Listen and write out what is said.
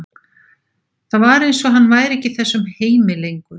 Það var eins og hann væri ekki í þessum heimi lengur.